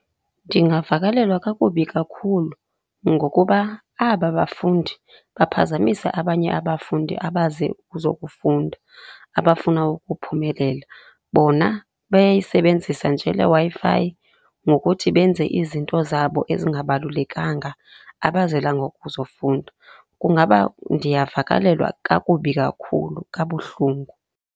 Ndingavakalelwa kakubi kakhulu ngokuba aba bafundi baphazamisa abanye abafundi abaze kuzokufunda abafuna ukuphumelela. Bona bayayisebenzisa nje le Wi-Fi ngokuthi benze izinto zabo ezingabalulekanga, abazelanga ukuzofunda. Kungaba ndiyavakalelwa kakubi kakhulu, kabuhlungu.